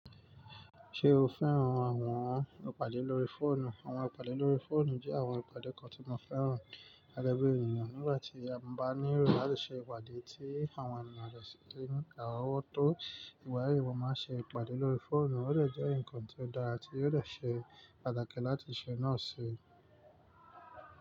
Ṣé o fẹ́ràn àwọn ìpàdé lórí fóònù? Àwọn ìpàdé lórí fóònù jẹ́ àwọn ìpàdé kan tí mo fẹ́ràn. Gẹ́gẹ́ bí ènìyàn, nígbà tí a bá ní ìròyìn láti ṣe ìpàdé tí àwọn ènìyàn lè ṣe ní àrowọ́tó, ìgbayi, mo máa ń ṣe ìpàdé lórí fóònù. Ó lè jẹ́ nnkan tí ó dára ti ó dè ṣe pàtàkì láti ṣe náà ṣe.